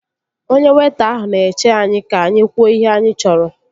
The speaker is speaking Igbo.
Onye weịta ahụ na-eche anyị ka anyị kwuo ihe anyị chọrọ